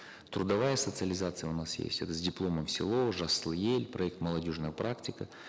трудовая социализация у нас есть это с дипломом в село жасыл ел проект молодежная практика